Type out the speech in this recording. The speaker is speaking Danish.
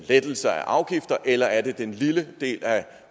lettelser af afgifter eller er det den lille del af